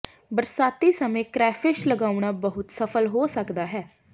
ਬਰਸਾਤੀ ਸਮੇਂ ਕ੍ਰੈਫਿਸ਼ ਲਗਾਉਣਾ ਬਹੁਤ ਸਫਲ ਹੋ ਸਕਦਾ ਹੈ